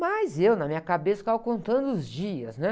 Mas eu, na minha cabeça, ficava contando os dias, né?